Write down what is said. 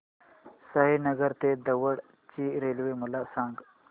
साईनगर ते दौंड ची रेल्वे मला सांग